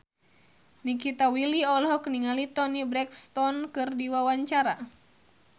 Nikita Willy olohok ningali Toni Brexton keur diwawancara